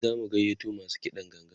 e zamu gayyato masu kiɗan ganga